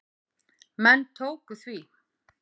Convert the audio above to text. Menn tóku því.